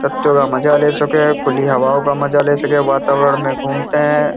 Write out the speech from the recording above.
तख्तों का मजा ले सकें खुली हवाओं का मजा ले सकें। वातावरण में घूमते हैं।